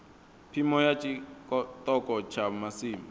phimo ya tshiṱoko tsha masimu